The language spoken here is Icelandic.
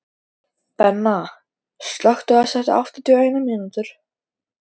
Benna, slökktu á þessu eftir áttatíu og eina mínútur.